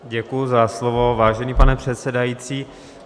Děkuji za slovo, vážený pane předsedající.